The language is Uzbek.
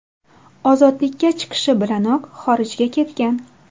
Ozodlikka chiqishi bilanoq xorijga ketgan.